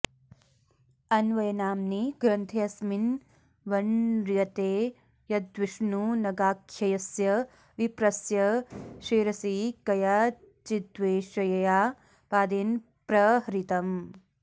अन्वयनाम्नि ग्रन्थेऽस्मिन् वण्र्यते यद्विष्णुनगाख्यस्य विप्रस्य शिरसि कयाचिद्वेश्यया पादेन प्रहृतम्